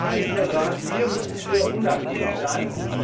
Da kann ich nur sagen Hier müssen wir unnachgiebig sein!